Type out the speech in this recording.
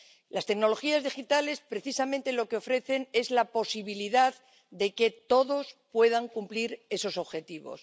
Las tecnologías digitales, precisamente, lo que ofrecen es la posibilidad de que todos puedan cumplir esos objetivos.